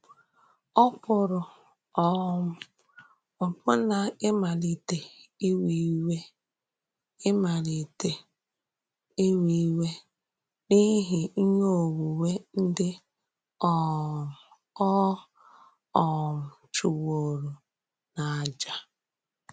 Ọ pụrụ um ọbụ̀nà ìmalìtè íwè íwè ìmalìtè íwè íwè n’íhì íhè ònwùnwè ndị um ọ um chùwòrò n’àjà.